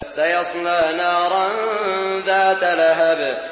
سَيَصْلَىٰ نَارًا ذَاتَ لَهَبٍ